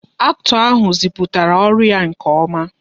Acto ahụ ziputara ọrụ ya nke oma